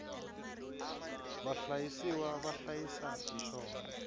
vahlayisiwa va hlayisa hi xona